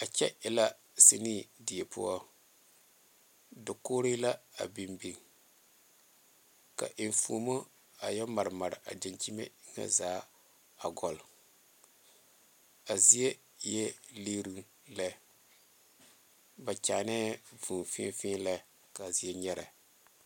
A kyɛ e la sene die poɔ daogore la a beŋ beŋe ka eŋfomo la a yɛ maremare a damkyeme zaa a goloŋ a zieŋ eɛ liiroŋ lɛ ba kyɛne vūū feɛlɛ kaa zieŋ nyɛre.